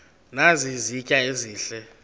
nazi izitya ezihle